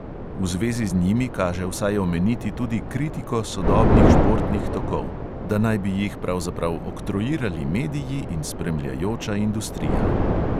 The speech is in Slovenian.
V zvezi z njimi kaže vsaj omeniti tudi kritiko sodobnih športnih tokov: da naj bi jih pravzaprav oktroirali mediji in spremljajoča industrija.